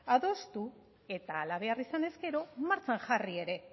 adostu eta hala behar izanez gero martxan jarri ere